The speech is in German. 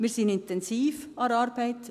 Wir sind intensiv an der Arbeit.